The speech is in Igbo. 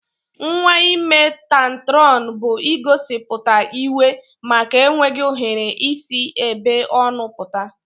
Nwa ime tantrọn bu igosiputa iwe maka enweghi ohere isi ebe ọno pụta.